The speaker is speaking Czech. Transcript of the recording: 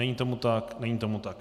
Není tomu tak, není tomu tak.